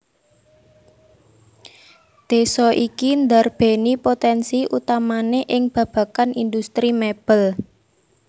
Désa iki ndarbèni potènsi utamané ing babagan indhustri mèbel